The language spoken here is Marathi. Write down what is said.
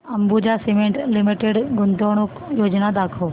अंबुजा सीमेंट लिमिटेड गुंतवणूक योजना दाखव